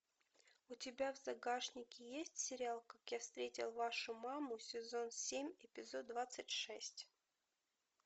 у тебя в загашнике есть сериал как я встретил вашу маму сезон семь эпизод двадцать шесть